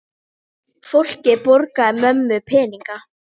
Fólkið borgaði mömmu peninga!